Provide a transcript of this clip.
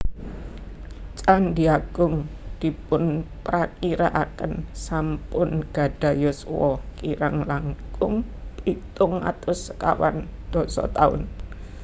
Candhi Agung dipunprakirakaken sampun gadhah yuswa kirang langkung pitung atus sekawan dasa taun